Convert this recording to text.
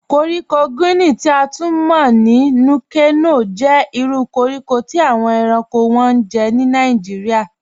Kọ̀ríkò Guinea, ti a tun mọ̀ ní Núkè-Nòh, jẹ́ ìrù kọ̀ríkò tí awọn èránkò wọ́n ni Nàìjíríà.